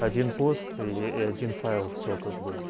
один пост и ээ один файл все как бы